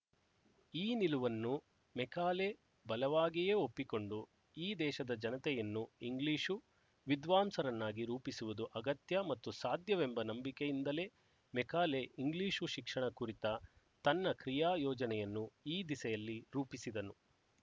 ಈ ನಿಲುವನ್ನು ಮೆಕಾಲೆ ಬಲವಾಗಿಯೇ ಒಪ್ಪಿಕೊಂಡು ಈ ದೇಶದ ಜನತೆಯನ್ನು ಇಂಗ್ಲಿಶು ವಿದ್ವಾಂಸರನ್ನಾಗಿ ರೂಪಿಸುವುದು ಅಗತ್ಯ ಮತ್ತು ಸಾಧ್ಯವೆಂಬ ನಂಬಿಕೆಯಿಂದಲೇ ಮೆಕಾಲೆ ಇಂಗ್ಲಿಶು ಶಿಕ್ಷಣ ಕುರಿತ ತನ್ನ ಕ್ರಿಯಾ ಯೋಜನೆಯನ್ನು ಈ ದಿಸೆಯಲ್ಲಿ ರೂಪಿಸಿದನು